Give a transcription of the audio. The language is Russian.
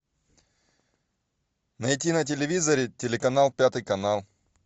найти на телевизоре телеканал пятый канал